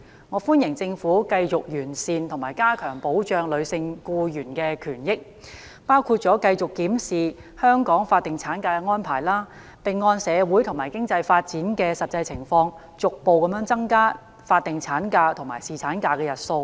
我歡迎政府繼續完善和加強保障女性僱員權益，包括繼續檢視香港法定產假的安排，並按社會和經濟發展的實際情況，逐步增加法定產假及侍產假的日數。